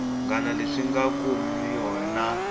ngana leswi nga kumiwa na